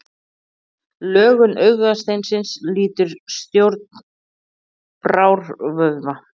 Lögun augasteinsins lýtur stjórn brárvöðva.